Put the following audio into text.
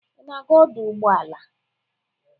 Ị na-aga ọdụ ụgboala?